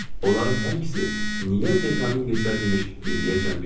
Onların hər ikisi niyə Dekamingeslər imiş, indiyəcən bilmirəm.